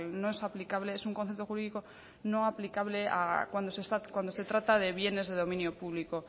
no es aplicable es un concepto jurídico no aplicable cuando se trata de bienes de dominio público